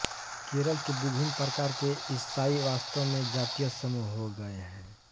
केरल के विभिन्न प्रकार के ईसाई वास्तव में जातीय समूह हो गए हैं